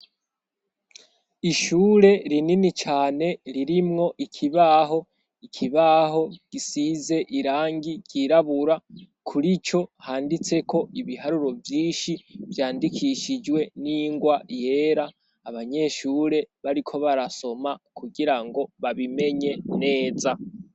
Ishure rinini cane ririmwo ikibaho. Ikibaho gisize irangi ryirabura kurico handitseko ibiharuro vyinshi, vyandikishijwe n'ingwa yera. Abanyeshure bariko barasoma kugira ngo babimenye neza.